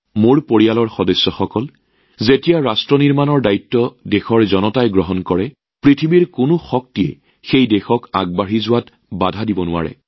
মোৰ পৰিয়ালৰ সদস্যসকল যেতিয়া সামগ্ৰিকভাৱে জনসাধাৰণে দেশ নিৰ্মাণৰ দায়িত্ব লয় তেতিয়া পৃথিৱীৰ কোনো শক্তিয়ে সেই দেশখনক আগবাঢ়ি যোৱাত বাধা দিব নোৱাৰে